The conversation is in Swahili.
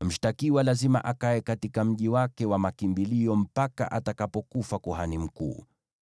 Mshtakiwa lazima akae katika mji wake wa makimbilio mpaka atakapokufa kuhani mkuu;